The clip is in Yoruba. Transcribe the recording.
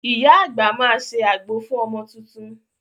Iya àgbà máa ṣe àgbo fún ọmọ tuntun.